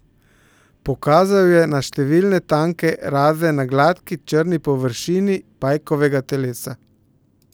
Pokazal je na številne tanke raze na gladki črni površini pajkovega telesa.